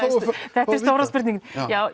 það er stóra spurningin